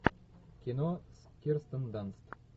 кино с кирстен данст